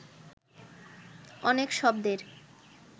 অনেক শব্দের